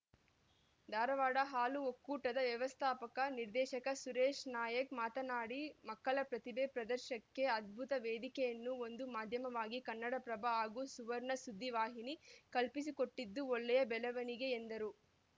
ಧಾರವಾಡ ಹಾಲು ಒಕ್ಕೂಟದ ವ್ಯವಸ್ಥಾಪಕ ನಿರ್ದೇಶಕ ಸುರೇಶ ನಾಯ್ಕ್ ಮಾತನಾಡಿ ಮಕ್ಕಳ ಪ್ರತಿಭೆ ಪ್ರದರ್ಶಕ್ಕೆ ಅದ್ಭುತ ವೇದಿಕೆಯನ್ನು ಒಂದು ಮಾಧ್ಯಮವಾಗಿ ಕನ್ನಡಪ್ರಭ ಹಾಗೂ ಸುವರ್ಣ ಸುದ್ದಿ ವಾಹಿನಿ ಕಲ್ಪಿಸಿಕೊಟ್ಟಿದ್ದು ಒಳ್ಳೆಯ ಬೆಳವಣಿಗೆ ಎಂದರು